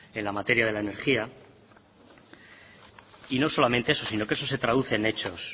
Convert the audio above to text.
en la materia de la energía y no solamente eso sino que eso se traduce en hechos